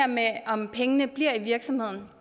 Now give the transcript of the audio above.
med om pengene bliver i virksomheden